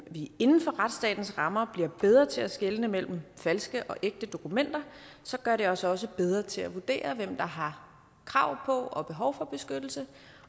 vi inden for retsstatens rammer bliver bedre til at skelne mellem falske og ægte dokumenter så gør det os også bedre til at vurdere hvem der har krav på og behov for beskyttelse